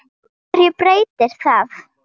HVERJU BREYTIR ÞAÐ?